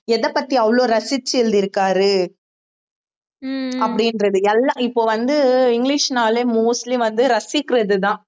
எதைப்பத்தி அவ்வளவு ரசிச்சு எழுதிருக்காரு அப்படின்றது எல்லாம் இப்ப வந்து இங்கிலிஷ்னாலே mostly வந்து ரசிக்கிறதுதான்